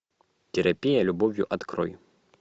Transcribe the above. терапия любовью открой